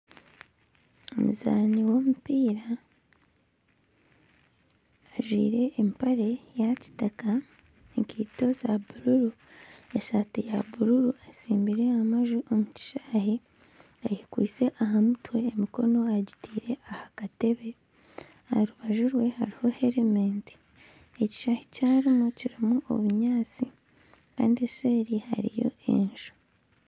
Omuzaani w'omupiira ajwaire empare ya kitaka ekaito za bururu esaati ya bururu atsimbire amanju omu kishaayi ayekwatsire aha mutwe emikono agitaire aha katebe aha rubaju rwe hariho helementi ekishaayi eki arimu kirimu obunyaatsi kandi eseeri hariyo enju.